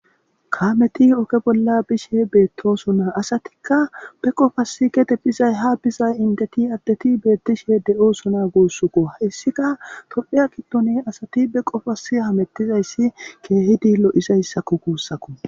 Kammeti oge bolla bishe bettosona asatika be qopasi gede bizay ha biza indeti addeti bettishe de'osina gussukko hesika tophiya gidon asati beqopasi hamutizaysi kehidi lo'izaysa gusako